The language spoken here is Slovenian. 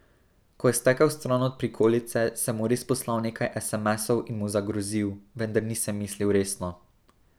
Ko je stekel stran od prikolice, sem mu res poslal nekaj esemesov in mu zagrozil, vendar nisem mislil resno.